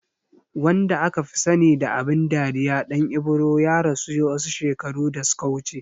Wanda akafi sani da abin dariya Ɗan Ibro ya rasu wasu shekaru da suka wuce